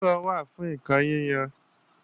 Àdìrò wà fún ǹkan yíyan